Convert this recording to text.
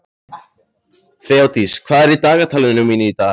Þeódís, hvað er í dagatalinu mínu í dag?